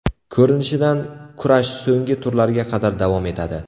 Ko‘rinishidan kurash so‘nggi turlarga qadar davom etadi.